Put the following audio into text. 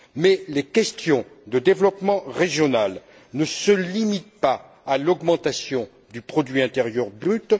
Mais les questions de développement régional ne se limitent pas à l'augmentation du produit intérieur brut.